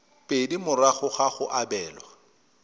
pedi morago ga go abelwa